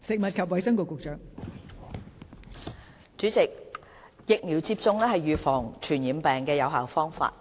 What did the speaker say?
代理主席，疫苗接種是預防傳染病的有效方法。